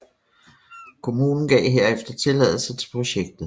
Kommunen gav herefter tilladelse til projektet